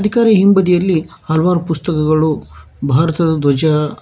ಅದರ ಹಿಂಬದಿಯಲ್ಲಿ ಹಲವಾರು ಪುಸ್ತಕಗಳು ಭಾರತದ ಧ್ವಜ--